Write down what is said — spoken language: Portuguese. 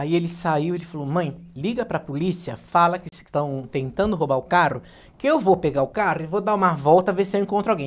Aí ele saiu e falou, mãe, liga para a polícia, fala que estão tentando roubar o carro, que eu vou pegar o carro e vou dar uma volta, ver se eu encontro alguém.